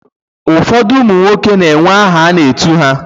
Ụfọdụ ụmụ nwoke na-enwe aha a na-etu ha.